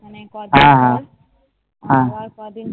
অনেক আবার ক দিন